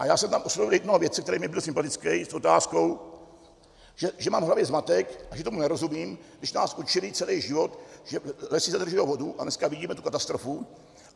A já jsem tam oslovil jednoho vědce, který mi byl sympatický, s otázkou, že mám v hlavě zmatek a že tomu nerozumím, když nás učili celý život, že lesy zadržují vodu, a dneska vidíme tu katastrofu.